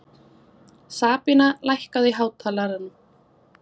Sabína, lækkaðu í hátalaranum.